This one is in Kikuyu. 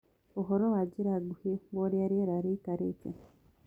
uhoro na njĩra nguhĩ wa urĩa rĩera rĩĩkaĩre